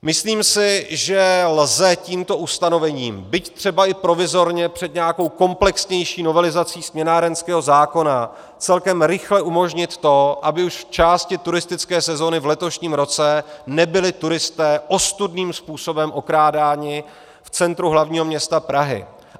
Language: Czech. Myslím si, že lze tímto ustanovením, byť třeba i provizorně před nějakou komplexnější novelizací směnárenského zákona, celkem rychle umožnit to, aby už v části turistické sezóny v letošním roce nebyli turisté ostudným způsobem okrádáni v centru hlavního města Prahy.